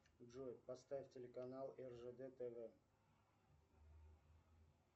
джой поставь телеканал ржд тв